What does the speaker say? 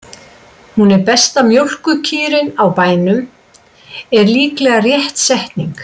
Hún er besta mjólkurkýrin á bænum, er líka rétt setning.